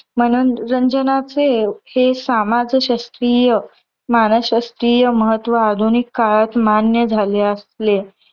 मनोरंजनाचे हे सामाजशास्त्रीय, मानसशास्त्रीय महत्व आधुनिक काळात मान्य झाले असले.